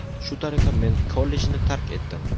Shu tariqa men kollejni tark etdim.